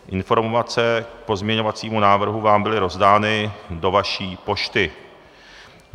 Informace k pozměňovacímu návrhu vám byly rozdány do vaší pošty.